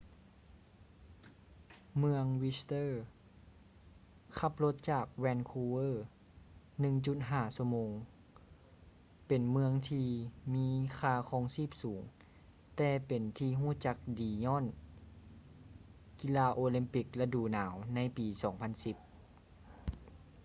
ເມືອງ whister ຂັບລົດຈາກ vancouver 1.5 ຊົ່ວໂມງ ເປັນເມືອງທີ່ມີຄ່າຄອງຊີບສູງແຕ່ເປັນທີ່ຮູ້ຈັກດີຍ້ອນກິລາໂອແລມປິກລະດູໜາວໃນປີ 2010